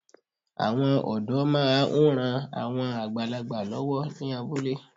Àwọn ọ̀dọ́ máa ń ran àwọn àgbàlagbà lọ́wọ́ ní abúlé